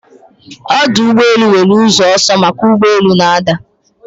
Ọdụ ụgbọ elu nwere ụzọ ọsọ maka ụgbọ elu na-ada